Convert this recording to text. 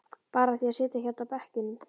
Bara af því að sitja hérna á bekkjunum.